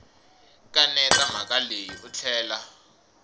kaneta mhaka leyi u tlhela